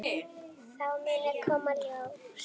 Það muni koma í ljós.